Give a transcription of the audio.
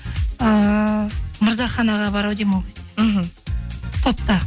ыыы мырзахан аға бар ау деймін ол кезде мхм топта